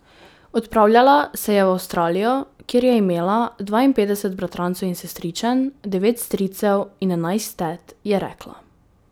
Odpravljala se je v Avstralijo, kjer je imela dvainpetdeset bratrancev in sestričen, devet stricev in enajst tet, je rekla.